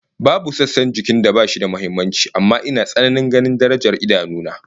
Babu sassan jikin da bashi da muhimmanci amma ina tsananin ganin darajar idanu na